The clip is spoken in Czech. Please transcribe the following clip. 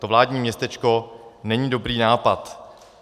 To vládní městečko není dobrý nápad.